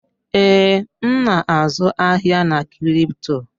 Ee, m na-azụ ahịa na crypto.